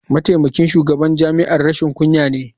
Mataimakin shugaban jami'ar rashin kunya ne.